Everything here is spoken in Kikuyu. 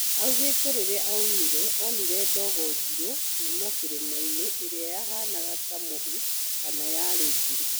Augĩte rĩrĩa aumĩre onire dogo njirũ kuma kĩrĩmainĩ ĩrĩa yahanaga ta mũhu kana yarĩ njirũ